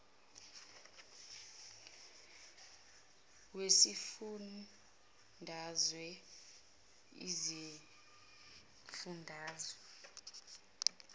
wesifun dazwe izifundazwe